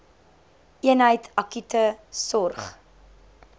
eenheid akute sorg